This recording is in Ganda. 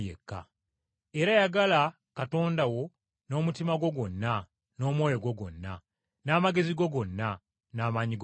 Era yagala Katonda wo n’omutima gwo gwonna n’omwoyo gwo gwonna, n’amagezi go gonna, n’amaanyi go gonna.’